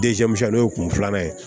n'o ye kun filanan ye